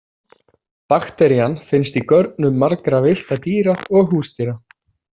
Bakterían finnst í görnum margra villtra dýra og húsdýra.